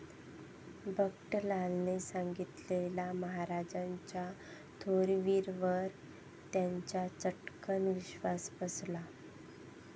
बंकटलालाने सांगितलेल्या महाराजांच्या थोरवीवर त्याचा चट्कन विश्वास बसला.